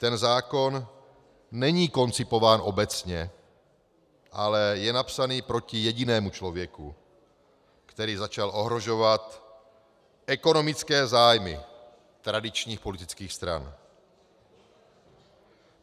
Ten zákon není koncipován obecně, ale je napsán proti jedinému člověku, který začal ohrožovat ekonomické zájmy tradičních politických stran.